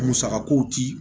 Musaka kow ti